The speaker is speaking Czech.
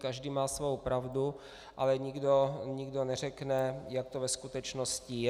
Každý má svou pravdu, ale nikdo neřekne, jak to ve skutečnosti je.